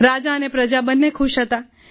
રાજા અને પ્રજા બંને ખુશ હતા